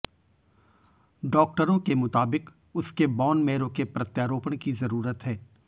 डॉक्टरों के मुताबिक उसके बॉन मेरो के प्रत्यारोपण की जरूरत है